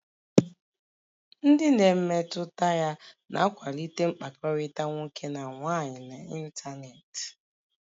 Ndị na-emetụta ya na-akwalite mkpakọrịta nwoke na nwaanyị n'ịntanetị